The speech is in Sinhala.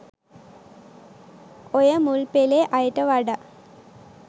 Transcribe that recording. ඔය මුල්පෙලේ අයට වඩා